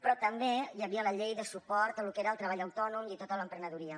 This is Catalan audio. però també hi havia la llei de suport al que era el treball autònom i tota l’emprenedoria